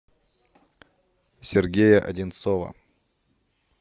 сергея одинцова